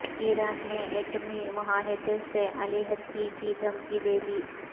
ایران نے ایٹمی معاہدے سے علیحدگی کی دھمکی دے دی